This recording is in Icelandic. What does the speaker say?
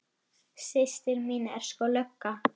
Systir mín er sko lögga